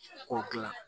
K'o dilan